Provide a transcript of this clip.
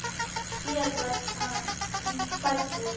Hér var hann fæddur.